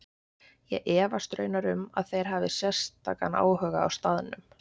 Ég efast raunar um að þeir hafi sérstakan áhuga á staðnum.